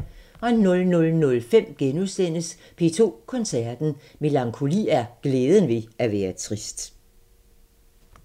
00:05: P2 Koncerten – Melankoli er glæden ved at være trist *